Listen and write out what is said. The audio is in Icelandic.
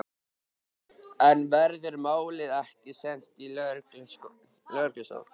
En verður málið ekki sent í lögreglurannsókn?